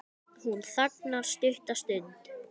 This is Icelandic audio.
Hún þagnar stutta stund.